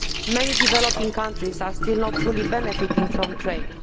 Many developing countries are still not fully benefiting from trade.